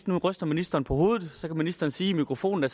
nu ryster ministeren på hovedet og så kan ministeren sige i mikrofonen at